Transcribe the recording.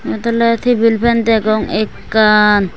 eyot oley tibil fen degong ekkan.